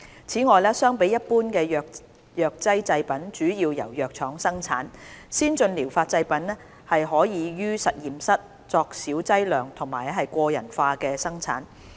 此外，相比一般的藥劑製品主要由藥廠生產，先進療法製品可以於實驗室作小劑量及個人化的生產。